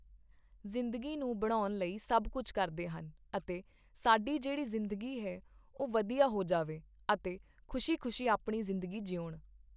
ਜ਼ਿੰਦਗੀ ਨੂੰ ਬਣਾਉਣ ਲਈ ਸਭ ਕੁਛ ਕਰਦੇ ਹਨ ਅਤੇ ਸਾਡੀ ਜਿਹੜੀ ਜ਼ਿੰਦਗੀ ਹੈ ਉਹ ਵਧੀਆ ਹੋ ਜਾਵੇ ਅਤੇ ਖੁਸ਼ੀ ਖੁਸ਼ੀ ਆਪਣੀ ਜ਼ਿੰਦਗੀ ਜਿਊਣ